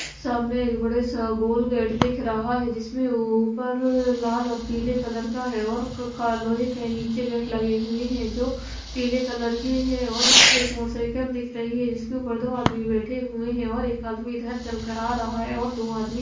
सामने एक बड़े सा गोल गेट दिख रहा है जिसमें ऊपर लाल और पीले कलर का है और का लोहे के नीचे गेट लगे हुए हैं जो पीले कलर के है और इसपे एक मोटरसाइकल दिख रही है जिसके ऊपर दो आदमी बैठे हुए हैं और एक आदमी इधर चल कर आ रहा है और दो आदमी--